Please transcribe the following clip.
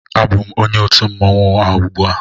Abụm onye otu mmanwụ a ugbua